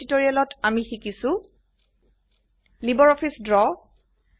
এই টিউটোৰিয়েলটিত আমি শিকিছো লাইব্ৰঅফিছ ড্ৰ